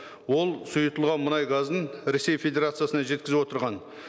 ол сұйытылған мұнай газын ресей федерациясына жеткізіп отырған